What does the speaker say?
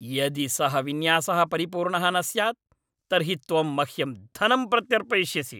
यदि सः विन्यासः परिपूर्णः न स्यात् तर्हि त्वं मह्यं धनं प्रत्यर्पयिष्यसि।